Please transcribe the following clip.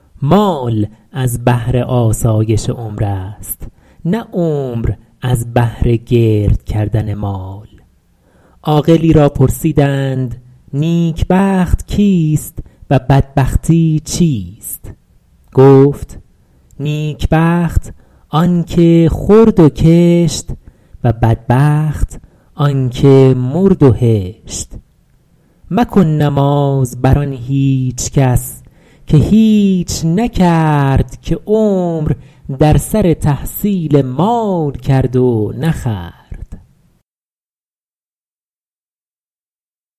مال از بهر آسایش عمر است نه عمر از بهر گرد کردن مال عاقلی را پرسیدند نیک بخت کیست و بدبختی چیست گفت نیک بخت آن که خورد و کشت و بدبخت آن که مرد و هشت مکن نماز بر آن هیچ کس که هیچ نکرد که عمر در سر تحصیل مال کرد و نخورد